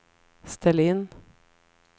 ställ in